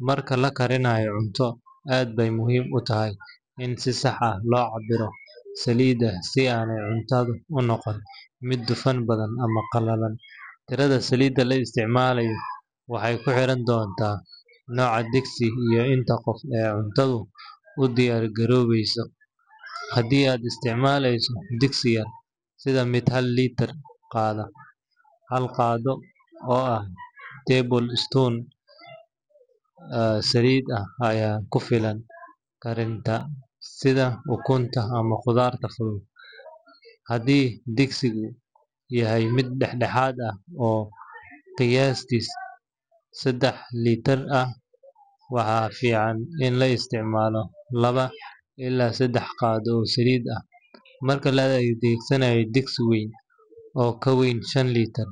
Marka la karinayo cunto, aad bay muhiim u tahay in si sax ah loo cabbiro saliidda si aanay cuntadu u noqon mid dufan badan ama qalalan. Tirada saliidda la isticmaalayo waxay ku xirnaan doontaa nooca digsi iyo inta qof ee cuntadu u diyaar garoobayso. Haddii aad isticmaalayso digsi yar, sida mid hal litir qaada, hal qaaddo oo ah tablespoon saliid ah ayaa ku filan karinta sida ukunta ama khudradda fudud. Haddii digsigu yahay mid dhexdhexaad ah, oo qiyaastii saddex litir ah, waxaa fiican in la isticmaalo laba ilaa saddex qaaddo oo saliid ah. Marka la adeegsanayo digsi weyn, oo ka weyn shan litir,